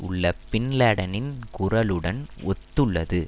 உள்ள பின் லேடனின் குரலுடனும் ஒத்துள்ளது